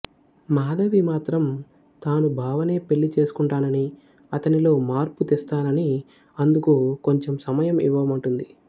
మాధవి మాత్రం తాను బావనే పెళ్ళి చేసుకుంటానని అతనిలో మార్పు తెస్తాననీ అందుకు కొంచెం సమయం ఇవ్వమంటుంది